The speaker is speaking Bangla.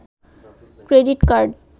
credit card